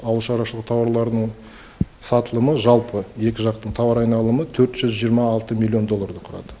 ауыл шаруашылығы тауарларының сатылымы жалпы екі жақтың тауар айналымы төрт жүз жиырма алты миллион долларды құрады